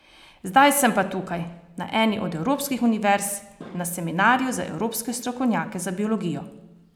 Zdaj sem pa tukaj, na eni od evropskih univerz, na seminarju za evropske strokovnjake za biologijo.